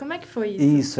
Como é que foi isso? Isso.